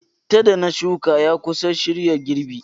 Chittah da na shuka ya kusa shirya girbi.